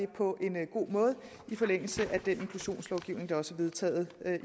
på en god måde i forlængelse af den inklusionslovgivning der også er vedtaget